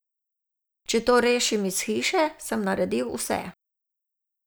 Če to rešim iz hiše, sem naredil vse.